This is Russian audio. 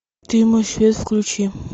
ты мой свет включи